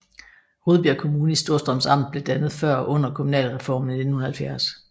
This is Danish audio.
Rudbjerg Kommune i Storstrøms Amt blev dannet før og under kommunalreformen i 1970